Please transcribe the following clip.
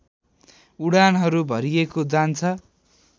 उडानहरू भरिएको जान्छ